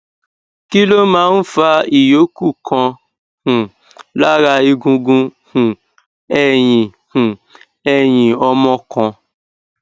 kí ló máa ń fa ìyókù kan um lára egungun um ẹyìn um ẹyìn ọmọ kan